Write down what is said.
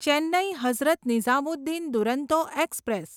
Chennai Hazrat Nizamuddin Duronto express